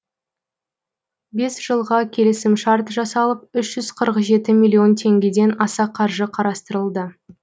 бес жылға келісімшарт жасалып үш жүз қырық жеті миллион теңгеден аса қаржы қарастырылды